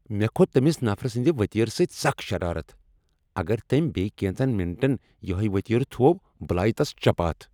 مےٚ كھوت تمِس نفرٕ سندِ وتیرٕ سۭتۍ سخ شرارت ۔ اگر تٔمۍ بییہ كینژن مِنٹن یہیہ وطیرٕ تھوو بہٕ لایہ تس چپاتھ ۔